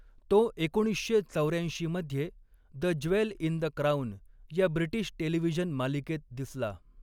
तो एकोणीसशे चौर्याऐंस्कीमध्ये the jewel in the crown या ब्रिटिश टेलिव्हिजन मालिकेत दिसला.